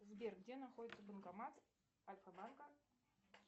сбер где находится банкомат альфа банка